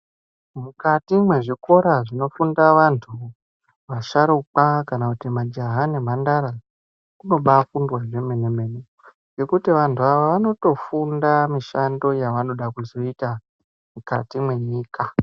Mukati mwezvikora zvinofunda vantu, vasharukwa kana kuti majaha nemhandara, munobafundwa zvemene-mene ngekuti vantu ava vanotofunda mishando yavanoda kuzoita mwukati mwenyika.